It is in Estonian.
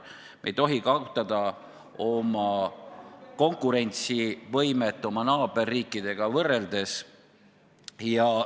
Me ei tohi kaotada konkurentsivõimet naaberriikidega võrreldes.